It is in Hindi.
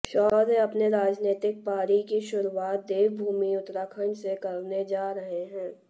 शौर्य अपने राजनीतिक पारी की शुरुआत देवभूमि उत्तराखंड से करने जा रहे हैं